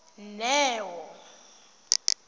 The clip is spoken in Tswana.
neo